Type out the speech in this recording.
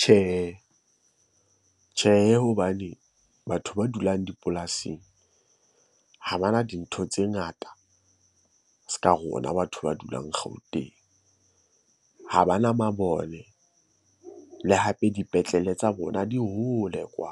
Tjhehe, tjhehe hobane batho ba dulang dipolasing ha bana dintho tse ngata se ka rona batho ba dulang Gauteng. Ha bana mabone le hape dipetlele tsa bona di hole kwa.